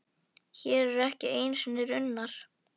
Hér eru ekki einu sinni runnar.